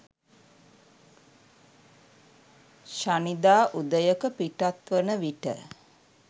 ශනිදා උදයක පිටත් වන විට